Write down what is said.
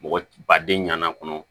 Mɔgɔ baden ɲanama kɔnɔ